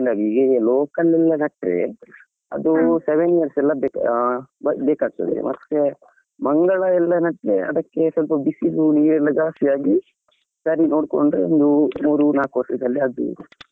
ಈಗ local ಎಲ್ಲ ನೆಟ್ರೆ ಅದು seven years ಎಲ್ಲಾ ಬೇಕಾ~ ಬೇಕಾಗ್ತಾದೆ ಮತ್ತೆ ಮಂಗಳಾ ಎಲ್ಲಾ ನೆಟ್ರೆ ಅದಕ್ಕೆ ಸ್ವಲ್ಪ ಬಿಸಿಲು ನೀರು ಜಾಸ್ತಿ ಆಗಿ ಸರಿಯಾಗಿ ನೋಡ್ಕೊಂಡ್ರೆ ಒಂದು ಮೂರು ನಾಲ್ಕು ವರ್ಷದಲ್ಲಿ ಆಗ್ತದೆ ಫಸಲು ಕೊಡ್ತದೆ ಹಾಗೆ.